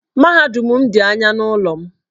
Mahadum m dị anya n'ụlọ m.